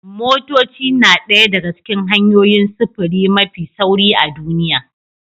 Motoci na ɗaya daga cikin hanyoyin sufuri mafi sauri a duniya